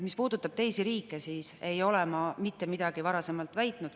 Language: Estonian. Mis puudutab teisi riike, siis ei ole ma mitte midagi varasemalt väitnud.